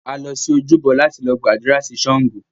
A lọ sí ojúbọ láti lọ gbàdúrà sí Ṣàngó